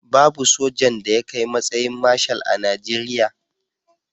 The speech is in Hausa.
Babu sojan da ya kai matsayin Marshal a Najeriya.